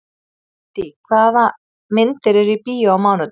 Kittý, hvaða myndir eru í bíó á mánudaginn?